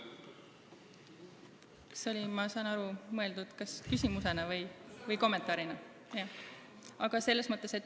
Kas see oli mõeldud kommentaarina?